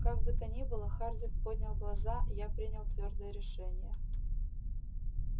как бы то ни было хардин поднял глаза я принял твёрдое решение